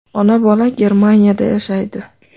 Ona-bola Germaniyada yashaydi.